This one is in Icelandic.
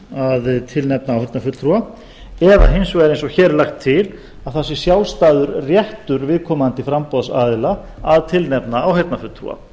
að tilnefna áheyrnarfulltrúa eða hins vegar eins og hér er lagt til að það sé sjálfstæður réttur viðkomandi framboðsaðila að tilnefna áheyrnarfulltrúa